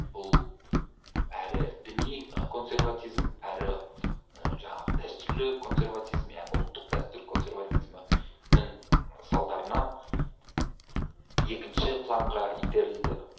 бұл әрі діни консерватизм әрі і жаңағы дәстүрлі консерватизм яғни ұлттық дәстүр консерватизмнің салдарынан екінші планға итерілді